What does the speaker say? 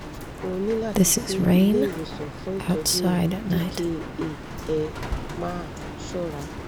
ó ó ní láti lọ sí ilé ìwòsàn fún ìtọ́jú dka ẹ máa ṣọ́ra